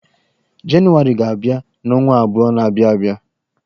Janụwarị ga-abia n'ọnwa abụo na-abịan abịa.